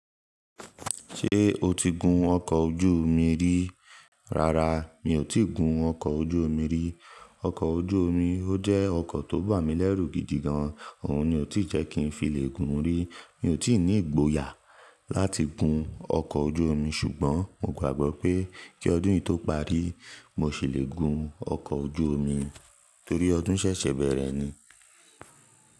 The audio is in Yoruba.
Ṣé o ti gun ọkọ̀ ojú omi rí? Rárá, mi ò tí gun ọkọ̀ ojú omi rí. Ọkọ̀ ojú omi ó jẹ́ ọkọ̀ tó bà mí lẹ́rù gidi gan, òun ni ò tí ì jẹ́ kí n filè gun rí. Mi ò tí ì ní ìgboyà láti gun ọkọ̀ ojú omi, ṣùgbọ́n mo gbàgbọ́ pé kí ọdún yìí tó parí, mo ṣì le gun ọkọ̀ ojú omi torí ọdún ṣẹ̀ṣẹ̀ bẹ̀rẹ̀ ni.